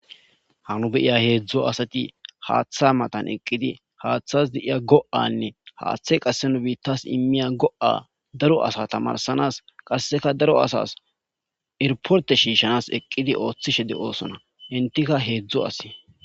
Happy nu be'iya hezdu asati hatha matan eqidi hathawu de'iya go'ane hathay qase imiya go'a daro asata tamarisanas qaseka daro asas iriporte shishanas eqidi othishe de'osona entika hezdu asi.